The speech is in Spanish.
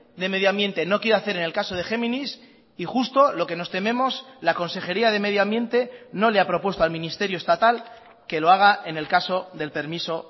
de medio ambiente no quiere hacer en el caso de géminis y justo lo que nos tememos la consejería de medio ambiente no le ha propuesto al ministerio estatal que lo haga en el caso del permiso